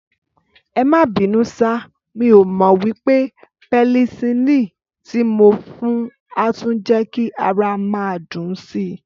Ẹmá bínú sà, mí ọ mo wípé penicilini ti mo fún a tún je ki ara máa dùn sii